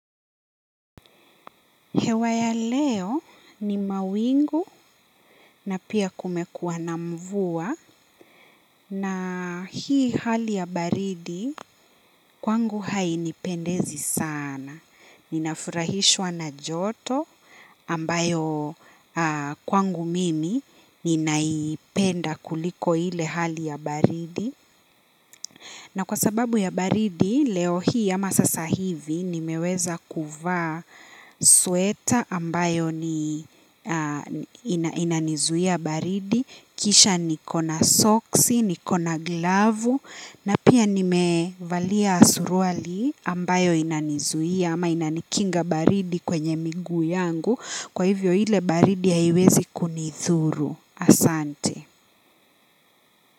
Hewa ya leo ni mawingu na pia kumekuwa na mvua na hii hali ya baridi kwangu hainipendezi sana. Ninafurahishwa na joto ambayo kwangu mimi ninaipenda kuliko ile hali ya baridi. Na kwa sababu ya baridi, leo hii ama sasa hivi nimeweza kuvaa sweta ambayo inanizuia baridi, kisha niko na soksi, niko na glavu, na pia nimevalia suruali ambayo inanizuia ama inanikinga baridi kwenye miguu yangu, kwa hivyo ile baridi haiwezi kunidhuru asante.